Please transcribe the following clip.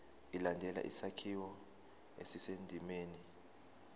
ilandele isakhiwo esisendimeni